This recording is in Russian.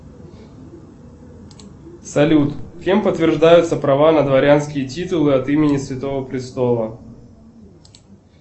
салют кем подтверждаются права на дворянские титулы от имени святого престола